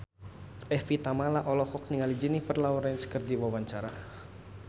Evie Tamala olohok ningali Jennifer Lawrence keur diwawancara